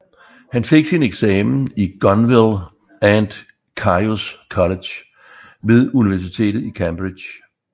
Han fik sin eksamen i Gonville and Caius College ved Universitetet i Cambridge